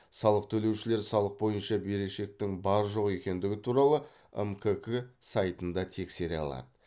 салық төлеушілер салық бойынша берешектің бар жоқ екендігі туралы мкк сайтында тексере алады